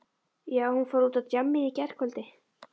Já, hún fór út á djammið í gærkvöldi.